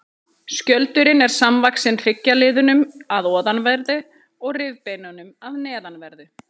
Skjöldurinn er samvaxinn hryggjarliðunum að ofanverðu og rifbeinunum að neðanverðu.